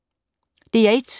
DR1